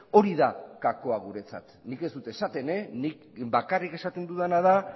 hori da gakoa guretzat nik ez dut esaten nik bakarrik esaten dudana da